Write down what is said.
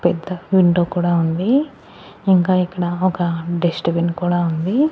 పెద్ద విండో కూడా ఉంది ఇంకా ఇక్కడ ఒక డస్ట్ బిన్ కూడా ఉంది.